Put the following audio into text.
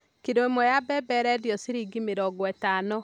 Kiro ĩmwe ya mbembe ĩrendio ciringi mĩrongo ĩtano.